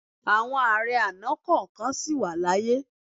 Àwọn ààrẹ àná kọ̀ọ̀kan sì wà láàyè.